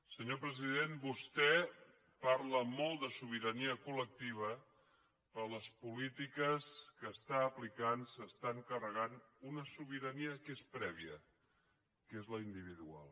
senyor president vostè parla molt de sobirania col·lectiva però les polítiques que està aplicant s’estan carregant una sobirania que és prèvia que és la individual